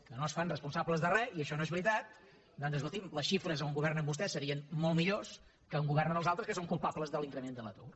que no es fan responsables de res i això no és veritat doncs escolti’m les xifres on governen vostès serien molt millors que on governen els altres que són culpables de l’increment de l’atur